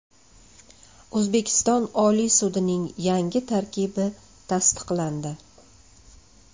O‘zbekiston Oliy sudining yangi tarkibi tasdiqlandi.